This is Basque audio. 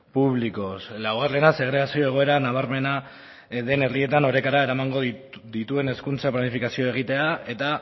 públicos laugarrena segregazio egoera nabarmena den herrietan orekara eramango dituen hezkuntza planifikazioa egitea eta